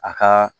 A ka